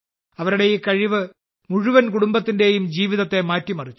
അവരുടെ ഈ കഴിവ് മുഴുവൻ കുടുംബത്തിന്റെയും ജീവിതത്തെ മാറ്റിമറിച്ചു